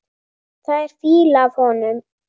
Það er fýla af honum.